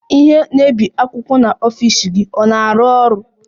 Ihe na-ebi akwụkwọ n'ọfịs gị ọ na-arụ ọrụ?